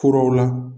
Furaw la